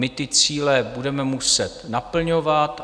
My ty cíle budeme muset naplňovat.